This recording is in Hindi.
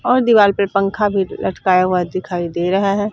और दीवाल पर पंखा भी लटकाया हुआ दिखाई दे रहा है।